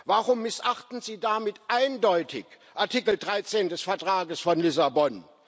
Warum missachten Sie damit eindeutig Artikel 13 des Vertrags von Lissabon?